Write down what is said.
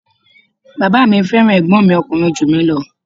Bàbá mi fẹ́ràn ẹ̀gbọ́n mi ọkùnrin ju mi ​​lọ.